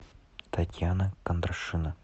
татьяна кондрашина